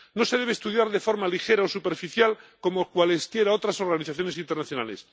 No se debe estudiar de forma ligera o superficial, como cualesquiera otras organizaciones internacionales.